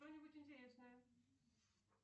что нибудь интересное